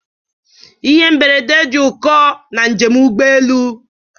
Ihe mberede dị ụkọ na njem ụgbọ elu.